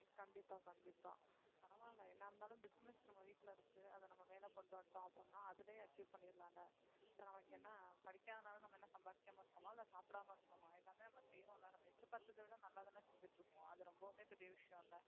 கண்டிப்பா கண்டிப்பா பரவாலை என்ன இருந்தாலும் business நம்ப வீட்ல இருக்கு அது நம்ம மேல கொண்டுவரட்டும் அப்பறமா அதிலேயே achieve பண்ணிடலால இப்ப நமக்கு என்ன படிக்காதனால நம்ம என்ன சம்பாரிக்காம இருக்கோமா இல்ல சாப்பிடாம இருக்கோமா எல்லாமே நம்ம செய்வோம்ல நம்ப எதிர் பார்த்ததைவிட நல்லாதானே செஞ்சுட்டு இருக்கோம் அது ரொம்பவுமே பெரிய விஷயம் இல்ல